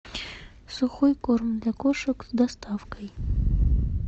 сухой корм для кошек с доставкой